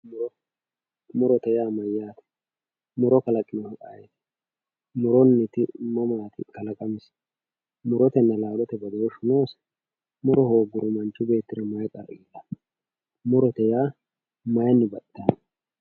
Muro murote yaa mayate muro mama afantano muro kalaqinohu ayitimurootena laalote badooshu noose murote mayi horo noose hani xawise